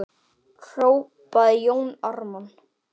hrópaði Jón Ármann.